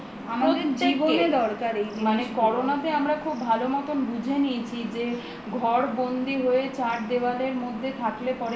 মানে করোনাতে আমরা খুব ভালো মতো বুঝে নিয়েছি যে ঘরবন্দী হয়ে চার দেওয়ালের মধ্যে থাকলে পরেই